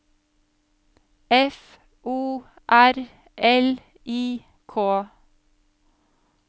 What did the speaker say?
F O R L I K